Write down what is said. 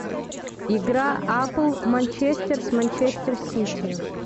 игра апл манчестер с манчестер сити